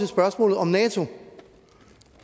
spørgsmålet om nato